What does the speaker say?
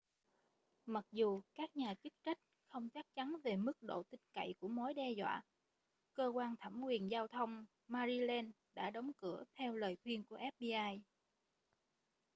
mặc dù các nhà chức trách không chắc chắn về mức độ tin cậy của mối đe dọa cơ quan thẩm quyền giao thông maryland đã đóng cửa theo lời khuyên của fbi